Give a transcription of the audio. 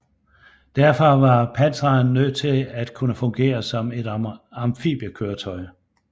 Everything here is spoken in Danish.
Derfor var Pantheren nødt til at kunne fungere som et amfibiekøretøj